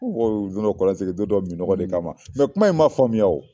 Ko mɔgɔ bɛ don dɔ kɔlɔn sen don dɔ minnɔgɔ de kama kuma in ma faamuya wo.